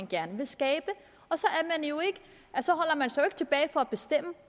gerne vil skabe og så holder man sig jo ikke tilbage for at bestemme